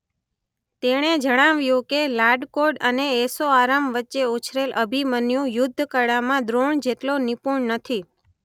તેણે જણાવ્યું કે લાડકોડ અને ઐશોઆરામ વચ્ચે ઉછરેલ અભિમન્યુ યુદ્ધ કળામાં દ્રોણ જેટલો નિપુણ નથી.